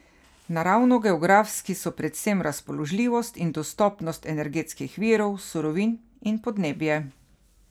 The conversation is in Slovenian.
Naravnogeografski so predvsem razpoložljivost in dostopnost energetskih virov, surovin in podnebje.